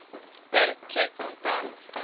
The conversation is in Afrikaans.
per tjek kontant